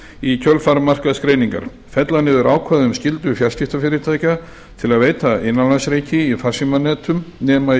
í kjölfar markaðsgreiningar fella niður ákvæði um skyldu fjarskiptafyrirtækja til að veita innanlandsreiki í farsímanetum nema í